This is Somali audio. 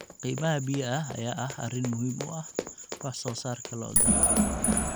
Qiimaha biyaha ayaa ah arrin muhiim u ah wax soo saarka lo'da.